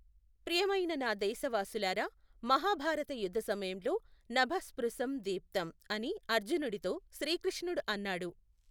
ప్రియమైన నా దేశవాసులారా, మహాభారత యుద్ధ సమయంలో నభ స్పృశం దీప్తం అని అర్జునుడితో శ్రీకృష్ణుడు అన్నాడు.